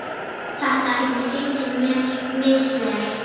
Þetta hefur gengið misvel.